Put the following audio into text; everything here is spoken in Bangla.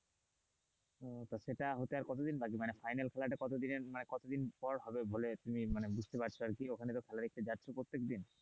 তো সেটা হতে আর কতদিন বাকি, মানে final খেলাটা কতদিনের কতদিন পর হবে বলে তুমি বুঝতে পার ওখানে তো খেলা দেখতে যাচ্ছ প্রত্যেকদিন,